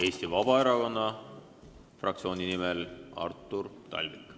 Eesti Vabaerakonna fraktsiooni nimel Artur Talvik.